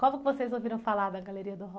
Como que vocês ouviram falar da Galeria do Rock?